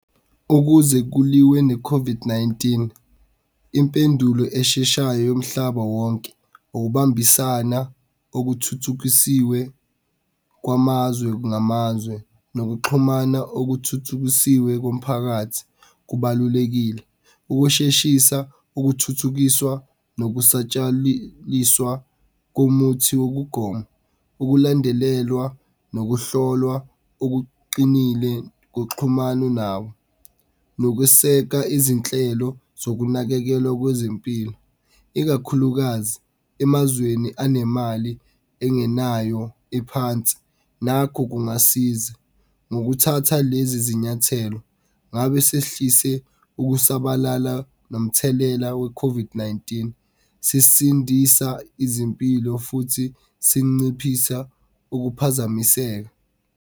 Ukuze kuliwe ne-COVID-19, impendulo esheshayo yomhlaba wonke ukubambisana okuthuthukisiwe kwamazwe ngamazwe, Nokuxhumana okuthuthukisiwe komphakathi kubalulekile, ukusheshisa okuthuthukiswa komuthi wokugoma. Ukulandelelwa nokuhlolwa okuqinile kuxhumane , nokweseka izinhlelo zokunakekelwa kwezempilo ikakhulukazi emazweni anemali engenayo ephansi Nakho kungasiza. Ngokuthatha lezi zinyathelo, ngabe sesihlise ukusabalala nomthelela we-COVID-19, sisindisa izimpilo futhi sinciphisa ukuphazamiseka.